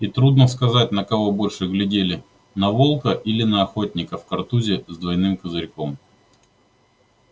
и трудно сказать на кого больше глядели на волка или на охотника в картузе с двойным козырьком